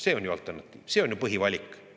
See on ju alternatiiv, see on ju põhivalik!